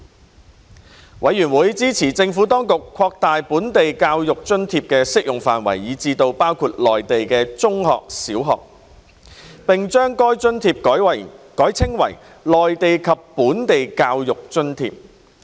事務委員會支持政府當局擴大本地教育津貼的適用範圍至包括內地中小學，並將該津貼改稱為內地及本地教育津貼。